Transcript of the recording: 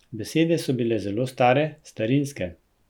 Besede so bile zelo stare, starinske.